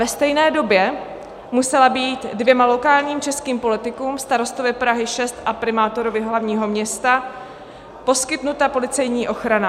Ve stejné době musela být dvěma lokálním českým politikům, starostovi Prahy 6 a primátorovi hlavního města, poskytnuta policejní ochrana.